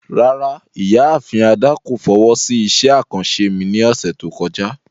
Rárá, Ìyaafin Ada ko fowo si iṣẹ akanṣe mi ni ọsẹ to kọja.